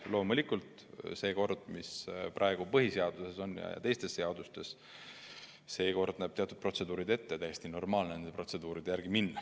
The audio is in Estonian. Loomulikult see kord, mis praegu on põhiseaduses ja teistes seadustes, näeb ette teatud protseduurid ja on täiesti normaalne neid protseduure järgida.